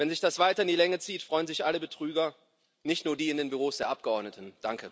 Wenn sich das weiter in die Länge zieht, freuen sich alle Betrüger, nicht nur die in den Büros der Abgeordneten.